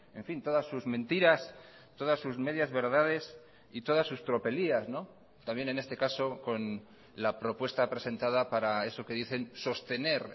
en fin todas sus mentiras todas sus medias verdades y todas sus tropelías también en este caso con la propuesta presentada para eso que dicen sostener